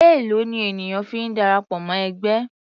Èlòó ni ènìyàn fi ń darapọ̀ mọ́ ẹgbẹ́?